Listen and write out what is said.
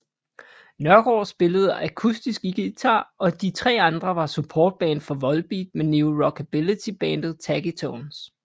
Nørgaard spillede akustisk guitar og de tre andre var supportband for Volbeat med Neo Rockabilly bandet Taggy Tones